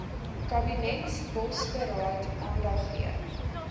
kabinetsbosberaad aandag gegee